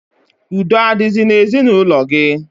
Udo adizi na ezi na ulo gi?